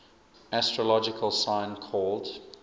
astrological sign called